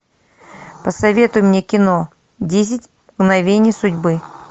посоветуй мне кино десять мгновений судьбы